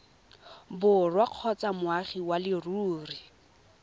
borwa kgotsa moagi wa leruri